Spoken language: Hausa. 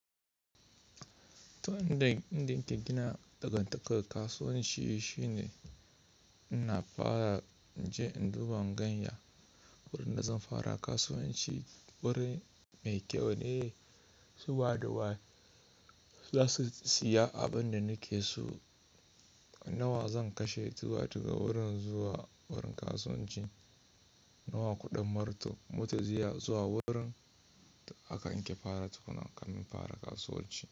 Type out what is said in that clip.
Ta, inda inda ike gina dangantakar kasuwanci shine ina fara je in duba in ganya wurin da zan fara kasuwanci wurin me kyau ne su waɗa wa su za su siya abin da nake so. Nawa zan kashe zuwa daga wurin zuwa wurin kasuwanci, nawa kuɗin moto zuwa wurin aka in ke fara tukuna kamin in fara kasuwanci.